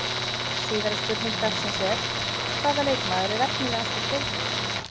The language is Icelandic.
Síðari spurning dagsins er: Hvaða leikmaður er efnilegastur í deildinni?